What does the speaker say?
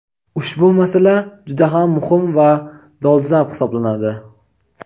Ushbu masala juda ham muhim va dolzarb hisoblanadi.